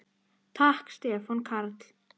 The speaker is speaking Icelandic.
Takk Stefán Karl.